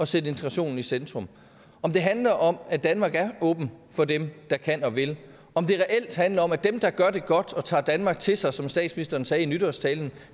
sætte integrationen i centrum om det handler om at danmark er åbent for dem der kan og vil om det reelt handler om at dem der gør det godt og tager danmark til sig som statsministeren sagde i nytårstalen